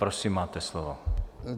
Prosím, máte slovo.